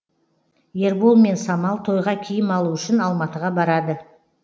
ербол мен самал тойға киім алу үшін алматыға барады